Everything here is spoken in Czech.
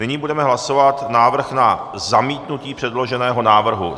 Nyní budeme hlasovat návrh na zamítnutí předloženého návrhu.